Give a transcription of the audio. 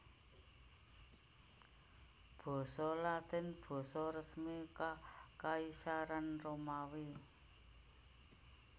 Basa Latin basa resmi Kakaisaran Romawi